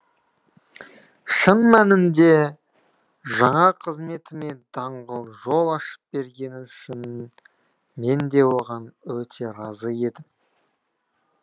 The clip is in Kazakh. шын мәнінде жаңа қызметіме даңғыл жол ашып бергені үшін мен де оған өте разы едім